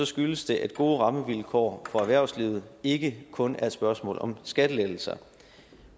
skyldes det at gode rammevilkår for erhvervslivet ikke kun er et spørgsmål om skattelettelser